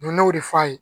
ne y'o de f'a ye